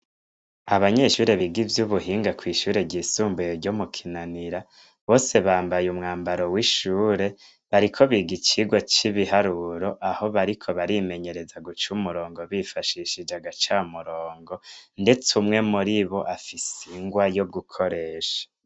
Abanyeshuri biga ivyo ubuhinga kw'ishuri ryisumbuye ryo mu kinanira bose bambaye umwambaro w'ishure bariko bigicirwa c'ibiharuro aho bariko barimenyereza guca umurongo bifashishije agaca murongo, ndetse umwe muri bo afise ingwa yo gukoresha.